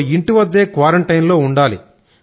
లో ఇంటివద్దే క్వారంటైన్ లో ఉండాలి